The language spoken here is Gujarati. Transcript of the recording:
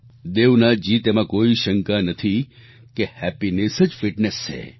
દેવનાથજી તેમાં કોઈ શંકા નથી કે હેપીનેસ જ ફિટનેસ છે